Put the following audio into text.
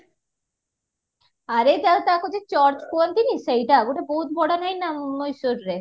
ଆରେ ତା ତାକୁ ଯୋଉ church କୁହନ୍ତିନି ସେଇଟା ଗୋଟେ ବୋହୁତ ବଡ ନାଇଁ ନା ମଏଶ୍ଵରରେ